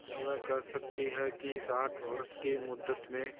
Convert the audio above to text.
क्या वे कह सकती हैं कि इस आठ वर्ष की मुद्दत में